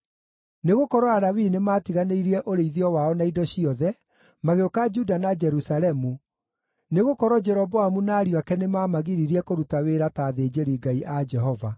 Nĩgũkorwo Alawii nĩmatiganĩirie ũrĩithio wao na indo ciothe, magĩũka Juda na Jerusalemu, nĩgũkorwo Jeroboamu na ariũ ake nĩmamagiririe kũruta wĩra ta athĩnjĩri-Ngai a Jehova.